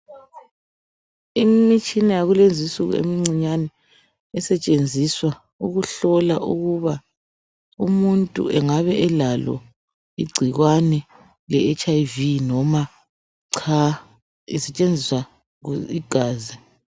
Imitshina yakulezinsuku emincinyane esetshenziswa ukuhlola ukuba umuntu engabe elalo igcikwane leHIV noma cha kusetshenziswa igazi.